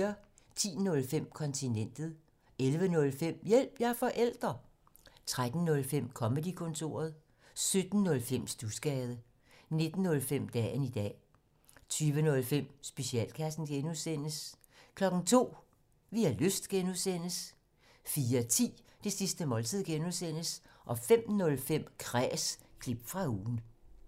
10:05: Kontinentet 11:05: Hjælp – jeg er forælder! 13:05: Comedy-kontoret 17:05: Studsgade 19:05: Dagen i dag 20:05: Specialklassen (G) 02:00: Vi har lyst (G) 04:10: Det sidste måltid (G) 05:05: Kræs – klip fra ugen